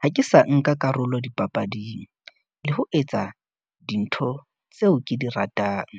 "Ha ke sa nka karolo dipapading, le ho etsa dintho tseo ke di ratang,"